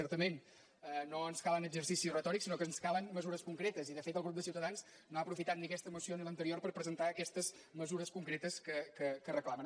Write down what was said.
certa·ment no ens calen exercicis retòrics sinó que ens ca·len mesures concretes i de fet el grup de ciutadans no ha aprofitat ni aquesta moció ni l’anterior per pre·sentar aquestes mesures concretes que reclamen